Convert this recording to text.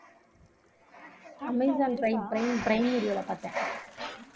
Amazon Prime Prime Prime வீடியோல பார்த்தேன்